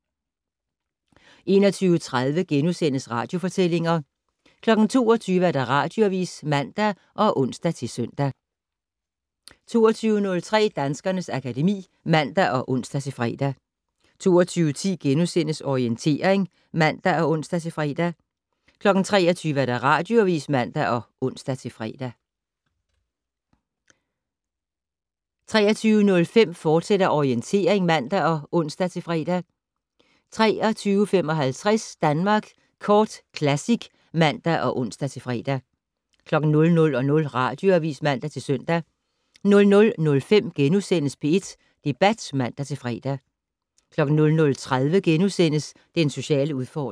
21:30: Radiofortællinger * 22:00: Radioavis (man og ons-søn) 22:03: Danskernes akademi (man og ons-fre) 22:10: Orientering *(man og ons-fre) 23:00: Radioavis (man og ons-søn) 23:05: Orientering, fortsat (man og ons-fre) 23:55: Danmark Kort Classic (man og ons-fre) 00:00: Radioavis (man-søn) 00:05: P1 Debat *(man-fre) 00:30: Den sociale udfordring *